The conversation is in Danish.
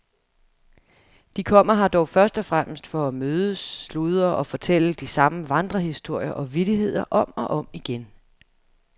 De kommer her dog først og fremmest for at mødes, sludre og fortælle de samme vandrehistorier og vittigheder om og om igen.